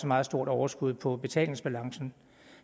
meget stort overskud på betalingsbalancen